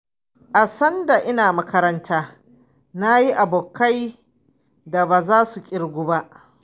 A sanda ina makaranta na yi abokai da baza su ƙirgu ba.